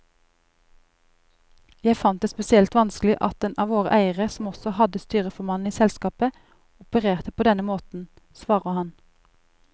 Jeg fant det spesielt vanskelig at den av våre eiere som også hadde styreformannen i selskapet, opererte på denne måten, svarer han.